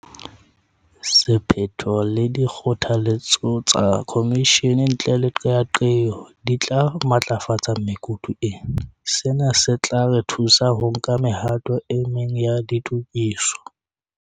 Sephetho le dikgotha letso tsa khomishene ntle le qeaqeo di tla matlafatsa mekutu ena. Sena se tla re thusa ho nka mehato e meng ya ditokiso.